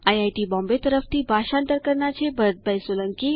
IIT Bombay તરફથી ભાષાંતર કરનાર હું છું ભરત સોલંકી